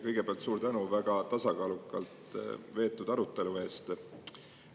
Kõigepealt suur tänu väga tasakaalukalt veetud arutelu eest!